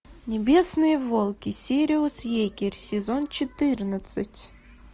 небесные волки сириус егерь сезон четырнадцать